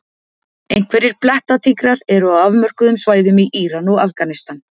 Einhverjir blettatígrar eru á afmörkuðum svæðum í Íran og Afganistan.